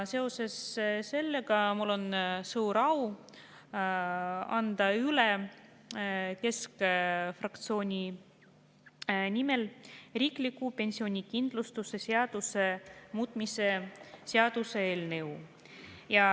Seoses sellega on mul suur au anda keskfraktsiooni nimel üle riikliku pensionikindlustuse seaduse muutmise seaduse eelnõu.